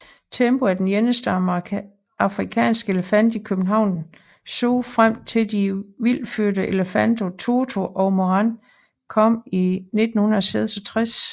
Tembo var den eneste afrikanske elefant i København Zoo frem til de vildtfødte elefanter Toto og Moran kom i 1966